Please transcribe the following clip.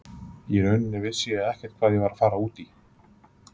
Í rauninni vissi ég ekkert hvað ég var að fara út í.